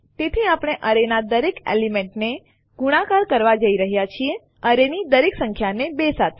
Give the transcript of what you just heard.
તેથી આપણે એરેના દરેક એલિમેન્ટને ગુણાકાર કરવા જઈ રહ્યા છીએ એરેની દરેક સંખ્યાને ૨ સાથે